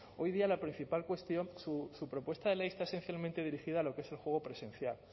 hoy día la principal cuestión su propuesta de ley está esencialmente dirigida a lo que es el juego presencial